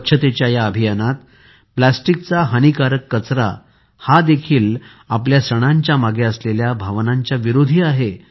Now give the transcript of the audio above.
स्वच्छतेच्या या अभियानात प्लास्टिकचा हानिकारक कचरा हा देखील आपल्या सणांच्यामागे असलेल्या भावनांच्या विरोधी आहे